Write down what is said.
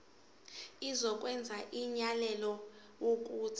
izokwenza umyalelo wokuthi